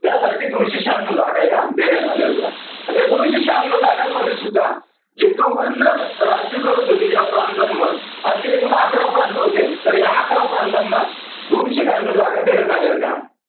त्यासाठी दोनशे शहान्नौ जागा ह्या देण्यात आल्या होत्या. आता या दोनशे शहानौ जागांमध्ये सुद्धा जे governor राज्य करत होते ज्या प्रांतांवर असे एकूण अकरा प्रांत होते. तर ह्या अकरा प्रांतांना दोनशे शहानौ जागा देण्यात आल्या होत्या.